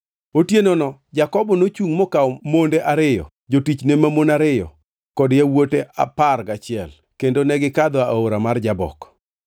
Otienono Jakobo nochungʼ mokawo monde ariyo, jotichne mamon ariyo kod yawuote apar gachiel kendo negikadho aora mar Jabok.